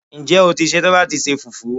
Ǹjẹ́ o ti ṣe tán láti se Fùfú?